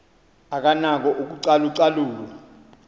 akanako ukucalu calula